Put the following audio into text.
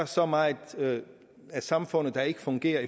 så meget af samfundet der ikke fungerer